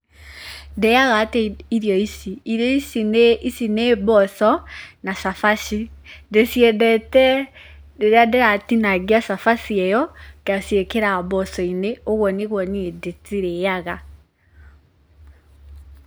Ndĩaga atĩa irio ici? Irio ici nĩ mboco, na cabaci. Ndĩ ciendete rĩrĩa ndĩratinangia shabashi ĩyo, ngashiĩkĩra mboco-inĩ, ũguo nĩguo niĩ ndĩ cirĩaga.